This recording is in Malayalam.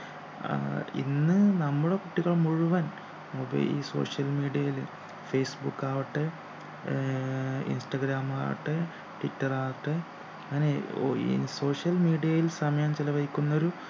ആഹ് ഇന്ന് നമ്മുടെ കുട്ടികൾ മുഴുവൻ mobile ഇ social media ൽ ഫേസ്ബുക് ആവട്ടെ ആഹ് ഇൻസ്റാഗ്രാമവട്ടെ ട്വിറ്റർ ആകട്ടെ അങ്ങനെ ഓ ഈ social media ൽ സമയം ചെലവഴിക്കുന്നൊരു